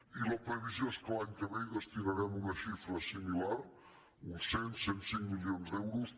i la previsió és que l’any que ve hi destinarem una xifra similar uns cent cent i cinc milions d’euros